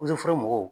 foro mɔgɔw